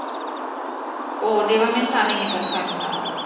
Å, det var minsann inget att skämta om.